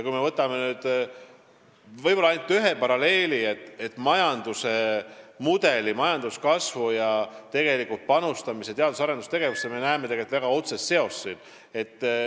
Kui me võtame nüüd ühe paralleeli, siis majanduskasvu ning teadus- ja arendustegevusse panustamise vahel võib näha väga otsest seost.